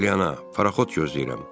Arliana, paraxod gözləyirəm.